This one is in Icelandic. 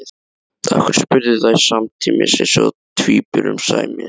Af hverju? spurðu þær samtímis eins og tvíburum sæmir.